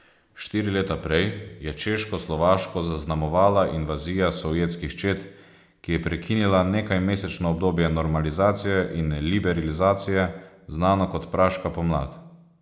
Štiri leta prej je Češkoslovaško zaznamovala invazija sovjetskih čet, ki je prekinila nekajmesečno obdobje normalizacije in liberalizacije, znano kot Praška pomlad.